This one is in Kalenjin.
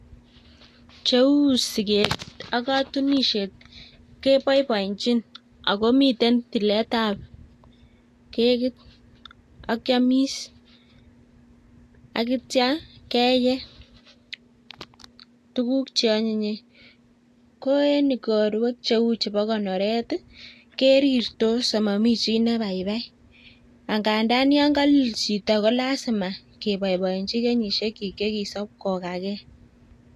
Cheu siket ak katunisiet keboiboienchin agomiten tiletab kekit akiamis, akitia keye tuguuk che anyinyen. Ko en korwek cheu chebo konoret ii, kerirtos amami chi ne baibai. Angandan yo kalilch chito ko lasima keboiboenchi kenyishek chi chekisob kogagei.